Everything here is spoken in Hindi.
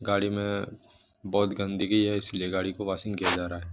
गाड़ी में बहुत गंदगी है इसलिए गाड़ी को वॉशिंग किया जा रहा है।